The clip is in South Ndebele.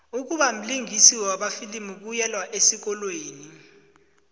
ukubamlingisi wamafilimu kuyelwa esikolweni